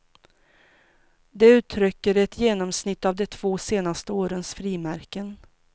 Det uttrycker ett genomsnitt av de två senaste årens frimärken.